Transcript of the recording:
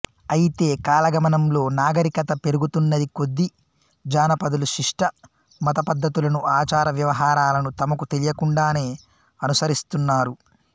అయితే కాలగమనంలో నాగరికత పెరుగుతున్నకొద్దీ జానపదులు శిష్ఠ మతపద్ధతులను ఆచార వ్యవహారాలను తమకు తెలియకుండానే అనుసరిస్తున్నారు